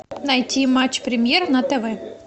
найти матч премьер на тв